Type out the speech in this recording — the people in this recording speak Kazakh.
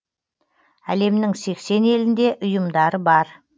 әлемнің сексен елінде ұйымдары бар